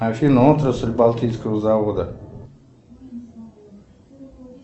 афина отрасль балтийского завода